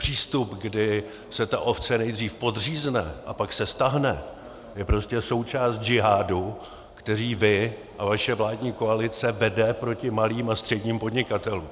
Přístup, kdy se ta ovce nejdřív podřízne a pak se stáhne, je prostě součást džihádu, který vy a vaše vládní koalice vedete proti malým a středním podnikatelům.